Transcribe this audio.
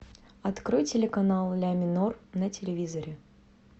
открой телеканал ля минор на телевизоре